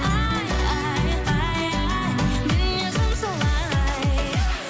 ай ай ай ай мінезім солай